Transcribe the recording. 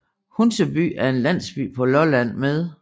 Hunseby er en landsby på Lolland med